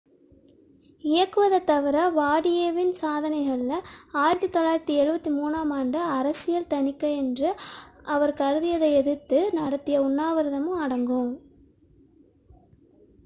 இயக்குவதைத் தவிர வாடியேவின் சாதனைகளில் 1973 ஆம் ஆண்டு அரசியல் தணிக்கை என்று அவர் கருதியதை எதிர்த்து நடத்திய உண்ணாவிரதமும் அடங்கும்